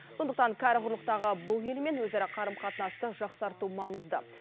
сондықтан кәрі құрлықтағы бұл елмен өзара қарым қатынасты жақсарту маңызды